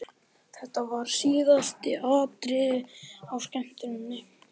Þetta var síðasta atriðið á skemmtuninni!